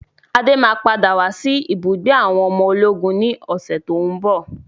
Adé máa padà wá sí ibùgbé àwọn ọmọ ológun ni ọ̀sẹ̀ tòun bọ̀.